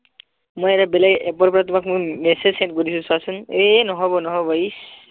মই এটা বেলেগ app পৰা তোমাক মই message send কৰিছো চোৱাচোন এ নহব নহব ইচ